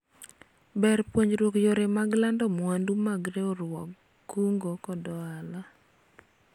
ber puonjruok yore mag lando mwandu mag riwruog kungo kod hola